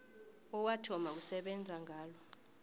owathoma ukusebenza ngalo